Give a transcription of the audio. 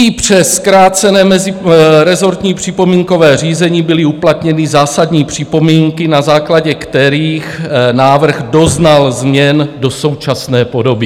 I přes zkrácené mezirezortní připomínkové řízení byly uplatněny zásadní připomínky, na základě kterých návrh doznal změn do současné podoby.